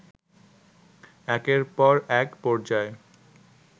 একের পর এক পর্যায়